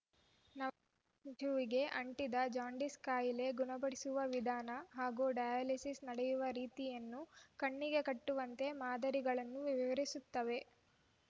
ನವ ಶಿಶುವಿಗೆ ಅಂಟಿದ ಜಾಂಡೀಸ್‌ ಕಾಯಿಲೆ ಗುಣಪಡಿಸುವ ವಿಧಾನ ಹಾಗೂ ಡಯಾಲಿಸಿಸ್‌ ನಡೆಯುವ ರೀತಿಯನ್ನು ಕಣ್ಣಿಗೆ ಕಟ್ಟುವಂತೆ ಮಾದರಿಗಳು ವಿವರಿಸುತ್ತವೆ